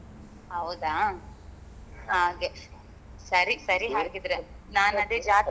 ಹೌದಾ ಹಾಗೆ ಸರಿ ಸರಿ ಹಾಗಿದ್ರೆ ನಾನ್ ಅದೇ ಜಾತ್ರೆ .